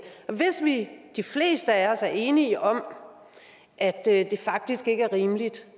hvis vi de fleste af os er enige om at det faktisk ikke er rimeligt